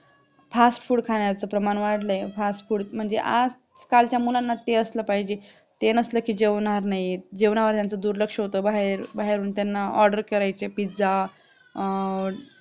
Fast food खाण्याचा प्रमाण वाढले fast food मध्ये आजकालचा मुलांना ते असला पाहिजे ते नसलं की जेवणावर नाही येतजेवणावर यांचा दुर्लक्ष होते बाहेर बाहेरून त्यांना order करायचे त्यांना pizza अह